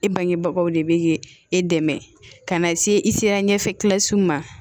E bangebagaw de bɛ e dɛmɛ ka na se i sera ɲɛfɛla siw ma